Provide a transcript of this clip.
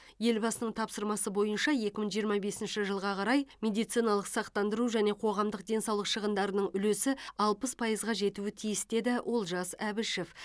елбасының тапсырмасы бойынша екі мың жиырма бесінші жылға қарай медициналық сақтандыру және қоғамдық денсаулық шығындарының үлесі алпыс пайызға жетуі тиіс деді олжас әбішев